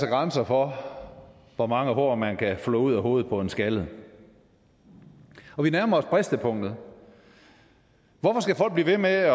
grænser for hvor mange hår man kan flå ud af hovedet på en skaldet og vi nærmer os bristepunktet hvorfor skal folk blive ved med at